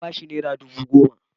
Na ba shi nera dubu goma.